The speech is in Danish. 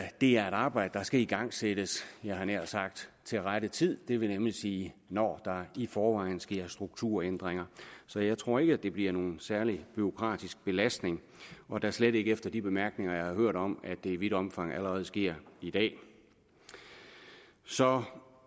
det er et arbejde der skal igangsættes jeg havde nær sagt til rette tid det vil nemlig sige når der i forvejen sker strukturændringer så jeg tror ikke at det bliver nogen særlig bureaukratisk belastning og da slet ikke efter de bemærkninger jeg har hørt om at det i vidt omfang allerede sker i dag så